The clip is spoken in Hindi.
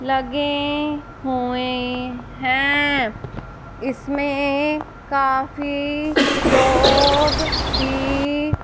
लगे हुए हैं। इसमें काफी लोग भी--